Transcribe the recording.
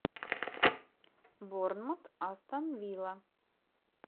борнмут астон вилла